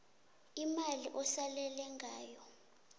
imali osalele ngayo